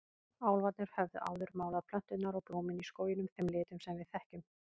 Álfarnir höfðu áður málað plönturnar og blómin í skóginum þeim litum sem við þekkjum.